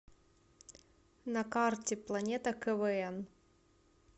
на карте планета квн